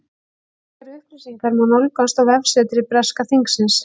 Frekari upplýsingar má nálgast á vefsetri breska þingsins.